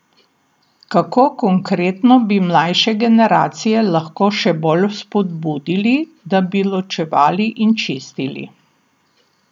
Kako konkretno bi mlajše generacije lahko še bolj vzpodbudili, da bi ločevali in čistili?